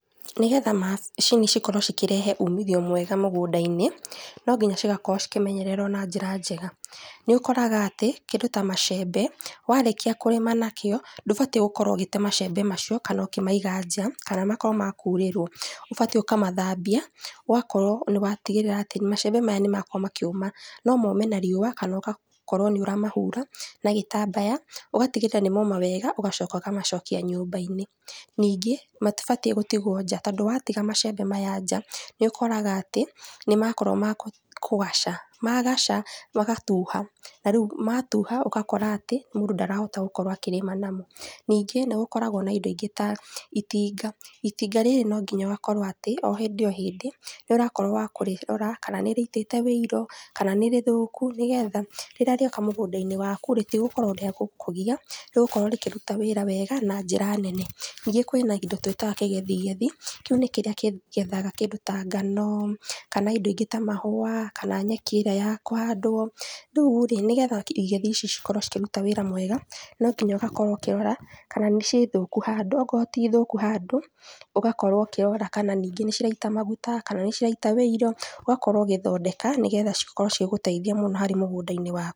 Nĩgetha macini cikorwo cikĩrehe umithio mwega mũgũnda-inĩ, no nginya cigakorwo cikĩmenyererwo na njĩra njega, nĩũkoraga atĩ, kĩndũ ta macembe warĩkia kũrĩma na kĩo ndũbatiĩ gũkorwo ũgĩte macembe macio kana ũkĩmaiga nja kana makorwo ma kũurĩrwo, ũbatiĩ ũkamathambia ũgatigĩrĩra atĩ macembe maya nĩmakorwo makĩũma, no mome na riũa kana ũgakorwo nĩũramahura na gĩtambaya ugatigĩrĩra nĩ moma wega ũgacoka ũkamacokia nyũmba-inĩ ningĩ, matibatiĩ gũtigwo nja tondũ watiga macembe maya nja nĩũkoraga atĩ nĩmakorwo ma kũgaca, magaca magatuha na rĩu matuha ũgakora atĩ mũndũ ndarahota gũkorwo akĩrĩma namo, ningĩ nĩgũkoragwo na indo ĩngĩ ta itinga, itinga rĩrĩ no nginya ũgakorwo atĩ o hĩndĩ o hĩndĩ nĩũrakorwo wa kũrĩrora kana nĩrĩitĩte ũiro kana nĩrĩthũku nĩgetha rĩrĩa rĩoka mũgũnda-inĩ waku rĩ rĩtigũkorwo rĩa gũkũgia rĩgũkorwo rĩkĩruta wĩra wega na njĩra nene, ningĩ kwĩna indo twĩtaga kĩgethigethi, kĩu nĩ kĩrĩa kĩgethaga kĩndũ ta ngano kana indo ingĩ ta mahũa kana nyeki ĩrĩa ya kũhandwo, rĩurĩ, nĩgetha igethi cikorwo cikĩruta wĩra mwega no nginya ũgakorwo ũkĩrora kana nĩ thũku handũ okorwo ti thũku ũgakorwo ũkĩrora kana ningĩ nĩciraita maguta kana nĩciraita ũiro, ũgakorwo ũgĩthoneka nĩgetha cikorwo cigĩguteithia muno harĩ mũgũnda-inĩ waku.